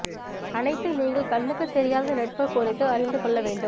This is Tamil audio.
அனைத்து நீங்கள் கண்ணுக்கு தெரியாத நெட்வொர்க் குறித்து அறிந்து கொள்ள வேண்டும்